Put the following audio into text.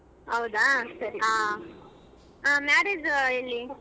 ಹೌದಾ ಸರಿ. ಹಾ marriage ಎಲ್ಲಿ.